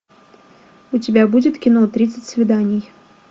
у тебя будет кино тридцать свиданий